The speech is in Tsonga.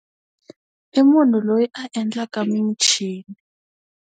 I munhu loyi a endlaka michini.